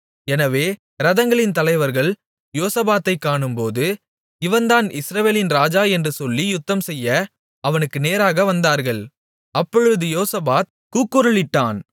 எனவே இரதங்களின் தலைவர்கள் யோசபாத்தைக் காணும்போது இவன்தான் இஸ்ரவேலின் ராஜா என்று சொல்லி யுத்தம்செய்ய அவனுக்கு நேராக வந்தார்கள் அப்பொழுது யோசபாத் கூக்குரலிட்டான்